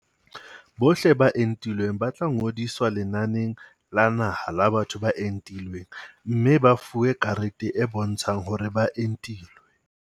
Bohle ba entilweng ba tla ngodiswa lenaneng la naha la batho ba entilweng mme ba fuwe karete e bontshang hore ba entilwe.